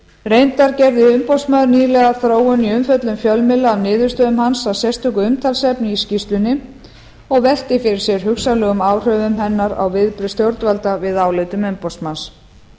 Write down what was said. reyndar gerði umboðsmaður nýlega þróun í umfjöllun fjölmiðla af niðurstöðum hans að sérstöku umtalsefni í skýrslunni og velti fyrir sér hugsanlegum áhrifum hennar á viðbrögð stjórnvalda við álitum umboðsmanns